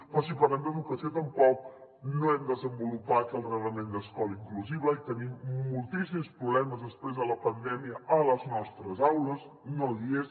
però si parlem d’educació tampoc no hem desenvolupat el reglament d’escola inclusiva i tenim moltíssims problemes després de la pandèmia a les nostres aules no i és